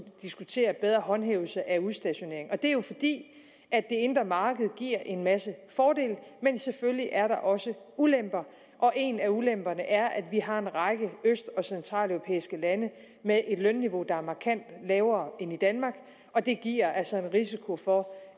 diskutere bedre håndhævelse af udstationering og det er jo fordi det indre marked giver en masse fordele men selvfølgelig er der også ulemper og en af ulemperne er at vi har en række øst og centraleuropæiske lande med et lønniveau der er markant lavere end i danmark og det giver altså en risiko for